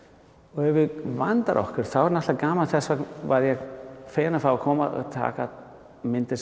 og ef við vöndum okkur þá er náttúrulega gaman þess vegna var ég feginn að fá að koma og taka myndir